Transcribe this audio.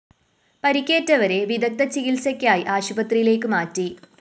പരിക്കേറ്റവരെ വിദഗ്ദ്ധചികിത്സയ്ക്കായി ആശുപത്രിയിലേക്ക് മാറ്റി